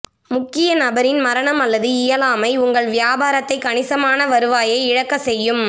முக்கிய நபரின் மரணம் அல்லது இயலாமை உங்கள் வியாபாரத்தை கணிசமான வருவாயை இழக்கச் செய்யும்